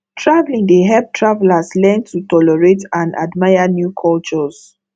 traveling dey help travelers learn to tolerate and admire new cultures